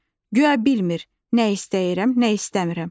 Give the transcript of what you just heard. Guya bilmir, nə istəyirəm, nə istəmirəm.